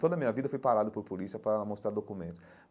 Toda a minha vida fui parado por polícia para mostrar documentos.